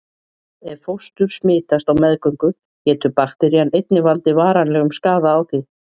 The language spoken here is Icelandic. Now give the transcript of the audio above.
Ef fóstur smitast á meðgöngu getur bakterían einnig valdið varanlegum skaða á því.